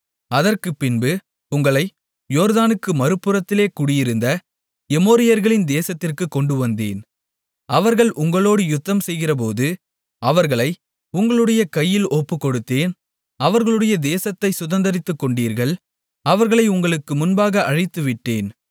அதற்குப்பின்பு உங்களை யோர்தானுக்கு மறுபுறத்திலே குடியிருந்த எமோரியர்களின் தேசத்திற்குக் கொண்டுவந்தேன் அவர்கள் உங்களோடு யுத்தம்செய்கிறபோது அவர்களை உங்களுடைய கையில் ஒப்புக்கொடுத்தேன் அவர்களுடைய தேசத்தை சுதந்தரித்துக்கொண்டீர்கள் அவர்களை உங்களுக்கு முன்பாக அழித்துவிட்டேன்